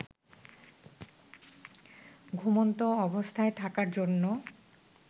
ঘুমন্ত অবস্থায় থাকার জন্য